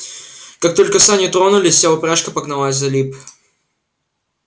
как только сани тронулись вся упряжка погналась за лип